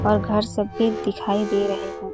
और घर सब भी दिखाई दे रहे है।